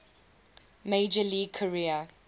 major league career